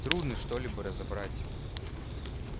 трудно что-либо разобрать